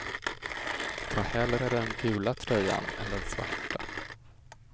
Ta hellre den gula tröjan än den svarta.